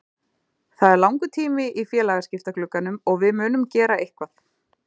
Það er langur tími í félagaskiptaglugganum og við munum gera eitthvað.